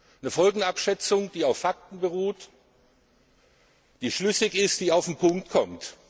Eine Folgenabschätzung, die auf Fakten beruht, die schlüssig ist und die auf den Punkt kommt.